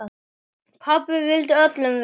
Pabbi vildi öllum vel.